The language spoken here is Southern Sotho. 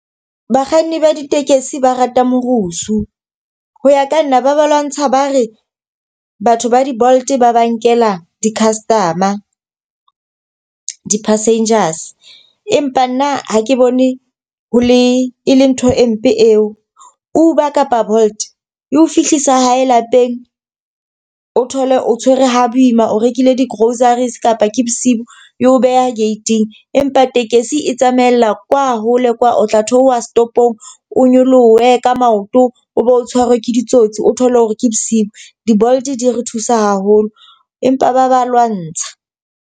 Bakganni ba ditekesi ba rata morusu. Ho ya ka nna, ba ba lwantsha ba re batho ba di-Bolt ba ba nkela di-customer, di-passengers. Empa nna ha ke bone ho le, e le ntho e mpe eo. Uber kapa Bolt e ho fihlisa hae lapeng, o thole o tshwere ho boima, o rekile di-groceries kapa ke bosiu e o beha gate-ing. Empa tekesi e tsamaella kwa hole kwa, o tla theoha setopong o nyolohe ka maoto o be o tshwarwe ke ditsotsi. O thole hore ke bosiu di-Bolt di re thusa haholo, empa ba ba lwantsha.